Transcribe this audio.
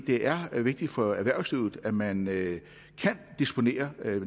det er vigtigt for erhvervslivet at man kan disponere